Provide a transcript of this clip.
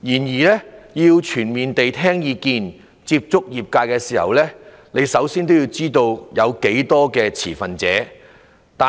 要全面地聽意見、接觸業界時，首先要知道有多少持份者。